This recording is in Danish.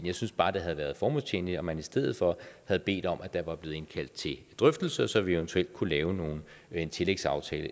jeg synes bare det havde været formålstjenligt om man i stedet for havde bedt om at der var blevet indkaldt til drøftelse så vi eventuelt kunne lave en tillægsaftale